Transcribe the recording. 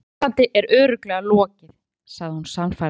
Þessu sambandi er örugglega lokið, segir hún sannfærandi.